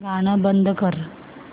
गाणं बंद कर